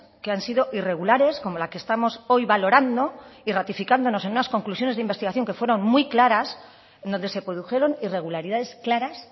que han sido irregulares como la que estamos hoy valorando y ratificándonos en unas conclusiones de investigación que fueron muy claras en donde se produjeron irregularidades claras